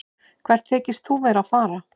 Hvert þykist þú vera að fara?